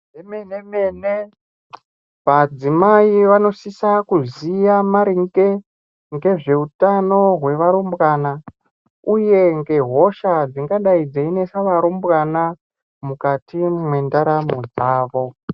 Zvemene mene madzimai anosisa kuziya maringe ngezveutano hwevarumbwana uye ngehosha dzingadai dzeinesa varumbwana mukati mendaramo dzavo